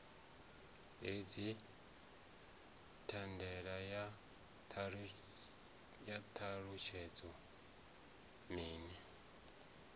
hedzi thandela ya ṱalutshedzwa minis